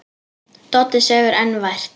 Doddi sefur enn vært.